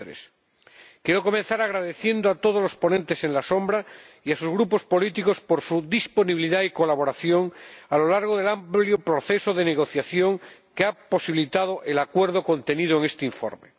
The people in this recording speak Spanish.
23. Quiero comenzar agradeciendo a todos los ponentes alternativos y a sus grupos políticos su disponibilidad y colaboración a lo largo del amplio proceso de negociación, que ha posibilitado el acuerdo contenido en este informe.